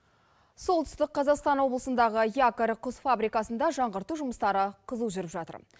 солтүстік қазақстан облысындағы якорь құс фабрикасында жаңғырту жұмыстары қызу жүріп жатыр